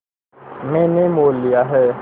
मैंने मोल लिया है